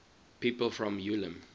people from ulm